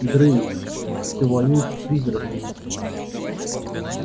грейс ты воюешь с призраками